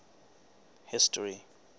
history